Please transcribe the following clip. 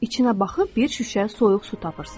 İçinə baxıb bir şüşə soyuq su tapırsız.